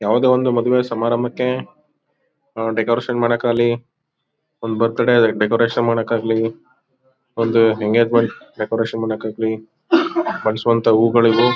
ಯಾವದೇ ಒಂದ್ ಮದ್ವೆ ಸಮಾರಂಭಕ್ಕೆ ಆಹ್ ಡೆಕೋರೇಷನ್ ಮಾಡಕ್ ಆಗ್ಲಿ ಒಂದ್ ಬರ್ತ್ಡೇ ಡೆಕೋರೇಷನ್ ಮಾಡಕ್ ಆಗ್ಲಿ ಒಂದ್ ಎಂಗೇಜ್ ಮೆಂಟ್ ಡೆಕೋರೇಷನ್ ಮಾಡಕ್ ಆಗ್ಲಿ ಬೈಸುವಂತ ಹೂಗಳಿವು.